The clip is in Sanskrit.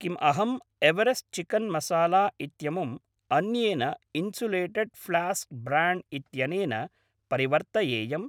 किम् अहं एवरेस्ट् चिकेन् मसाला इत्यमुम् अन्येन इन्सुलेटेड् फ्लास्क् ब्र्याण्ड् इत्यनेन परिवर्तयेयम्?